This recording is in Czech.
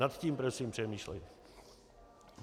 Nad tím prosím přemýšlejte.